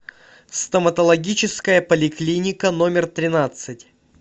стоматологическая поликлиника номер тринадцать